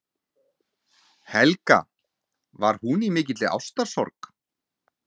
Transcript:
Helga: Var hún í mikilli ástarsorg?